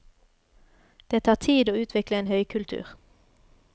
Det tar tid å utvikle en høykultur.